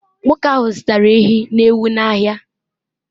nwoke ahụ zụtara ehi na ewu n’ahịa